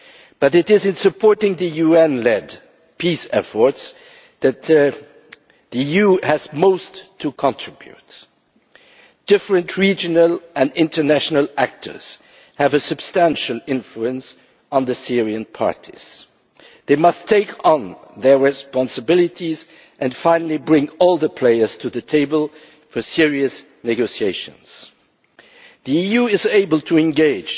But it is in supporting the UN led peace efforts that the EU has most to contribute. Different regional and international actors have a substantial influence on the Syrian parties. They must assume their responsibilities and finally bring all the players to the table for serious negotiations. The EU is able to engage